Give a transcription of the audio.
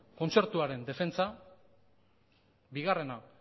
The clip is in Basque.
kontzertuaren defentsa bigarrena